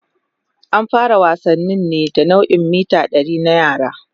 An fara wasannin ne da nau'in mita 100 na yara.